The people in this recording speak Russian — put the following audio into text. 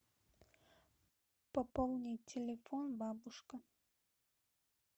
пополнить телефон бабушка